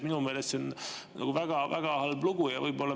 Minu meelest see on väga halb lugu.